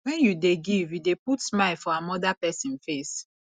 wen you dey give you dey put smile for amoda pesin face